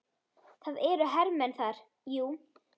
Það eru hermenn þar, jú.